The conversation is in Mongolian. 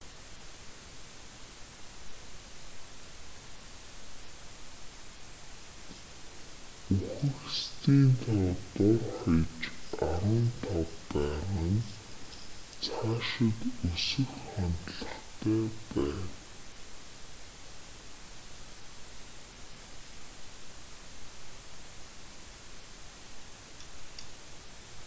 үхэгсдийн тоо дор хаяж 15 байгаа нь цаашид өсөх хандлагатай байна